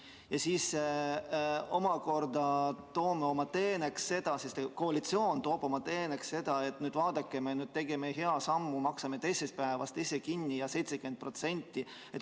Ja siis omakorda koalitsioon toob selle esile oma teenena, et vaadake, me tegime hea sammu, maksame teisest päevast haiguspäevad ise kinni 70% ulatuses.